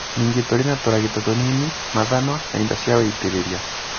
Ningĩ tũrĩ na tũragita tũnini, mathanwa, na indo cia wĩitĩrĩria.